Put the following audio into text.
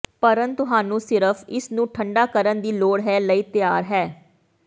ਭਰਨ ਤੁਹਾਨੂੰ ਸਿਰਫ ਇਸ ਨੂੰ ਠੰਡਾ ਕਰਨ ਦੀ ਲੋੜ ਹੈ ਲਈ ਤਿਆਰ ਹੈ